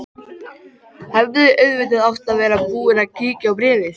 Hefði auðvitað átt að vera búin að kíkja á bréfið.